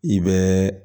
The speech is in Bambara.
I bɛ